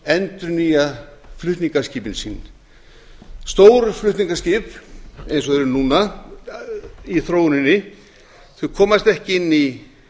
endurnýja flutningaskip sín stór flutningaskip eins og þau eru núna í þróuninni geta ekki